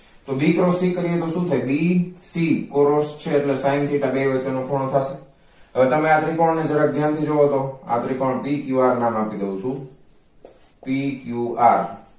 તો B cross C કરીએ તો શું થાય B C Cross છે એટલે sine theta બેય વચ્ચેનો ખૂણો થાય હવે તમે આ ત્રીકોણ ને જરાક ધ્યાન થી જુઓ તો આ ત્રીકોણ pqr ના નામ થી કવ છુ pqr